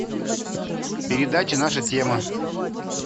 передача наша тема